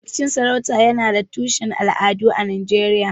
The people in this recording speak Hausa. Rikicin sarauta yana da tushen al'adu a Najeriya.